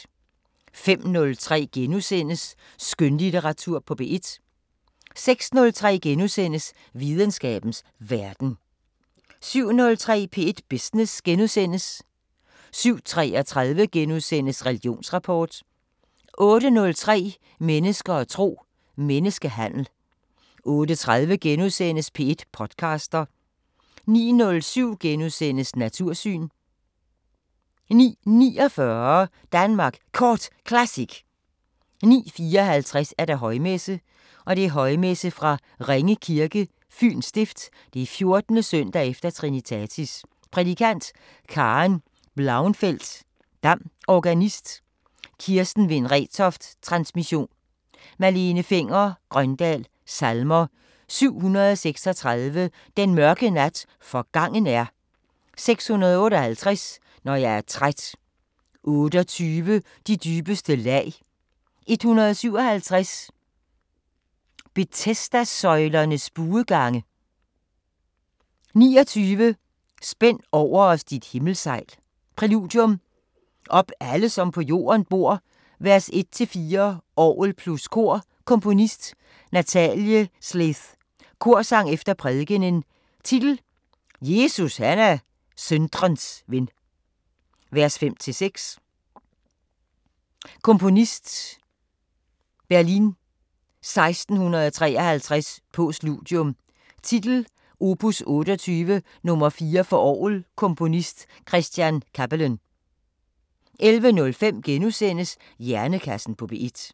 05:03: Skønlitteratur på P1 * 06:03: Videnskabens Verden * 07:03: P1 Business * 07:33: Religionsrapport * 08:03: Mennesker og tro: Menneskehandel 08:30: P1 podcaster * 09:07: Natursyn * 09:49: Danmark Kort Classic 09:54: Højmesse - Højmesse fra Ringe Kirke, Fyens Stift, 14.s. e. Trinitatis Prædikant: Karen Blauenfeldt Dam Organist: Kirsten Wind Retoft Transmission: Malene Fenger-Grøndahl Salmer: 736: Den mørke nat forgangen er 658: Når jeg er træt 28: De dybeste lag 157: Betesdasøjlernes buegange 29: Spænd over os dit himmelsejl Præludium: Op alle som på jorden bor, v.1-4 orgel + kor Komponist: Nathalie Sleeth Korsang efter prædikenen Titel: Jesus han er syndres ven, v. 5-6 Komponist: Berlin 1653 Postludium: Titel: Op. 28 nr. 4 for orgel Komponist: Chr. Cappelen 11:05: Hjernekassen på P1 *